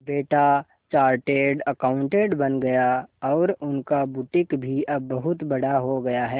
बेटा chartered accountant बन गया और उनका बुटीक भी अब बहुत बड़ा हो गया है